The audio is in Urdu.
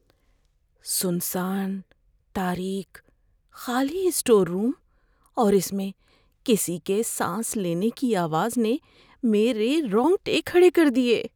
سنسان تاریک خالی اسٹور روم اور اس میں کسی کے سانس لینے کی آواز نے میرے رونگٹے کھڑے کر دیے۔